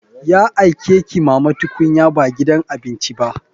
Ya aike ki mama tukunya ba gidan abinci ba.